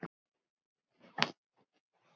Hvað fær hann í laun?